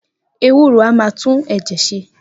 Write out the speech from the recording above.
Ewúro a máa tún ẹ̀jẹ̀ ṣe